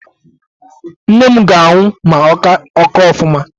Nne m ga-anwụ ma ọ kaa ofụma.